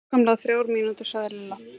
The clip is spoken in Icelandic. Nákvæmlega þrjár mínútur sagði Lilla.